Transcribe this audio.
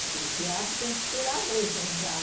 Porque o teatro tem que esperar a vez para entrar.